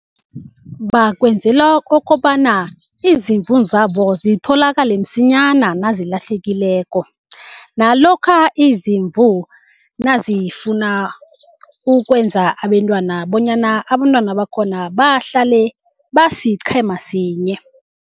Bakwenzela kokobana izimvu zabo zitholakale msinyana nazilahlekileko. Nalokha izimvu nazifuna ukwenza abentwana bonyana abentwana bakhona bahlale basiqhema sinye.